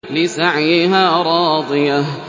لِّسَعْيِهَا رَاضِيَةٌ